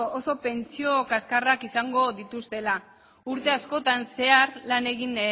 oso pentsio kaxkarrak izango dituztela urte askotan zehar lan egin